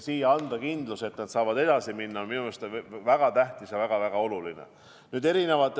Siia anda kindlus, et nad saavad edasi minna, on minu arust väga tähtis, väga oluline.